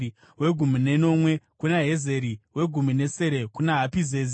wegumi nenomwe kuna Heziri, wegumi netsere kuna Hapizezi,